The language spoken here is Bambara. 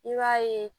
I b'a ye